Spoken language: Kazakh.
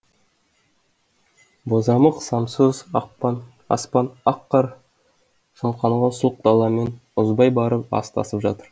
бозамық самсоз аспан ақ қар шымқанған сұлқ даламен ұзай барып астасып жатыр